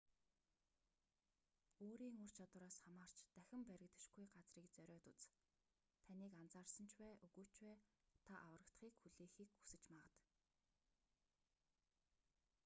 өөрийн ур чадвараас хамаарч дахин баригдашгүй газрыг зориод үз таныг анзаарсан ч бай үгүй ч бай та аврагдахыг хүлээхийг хүсэж магад